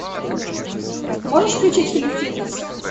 можешь включить фильм фитнес